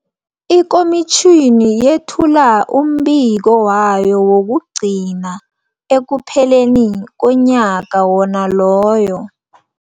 Ikomitjhini yethula umbiko wayo wokugcina ekupheleni komnyaka wona loyo.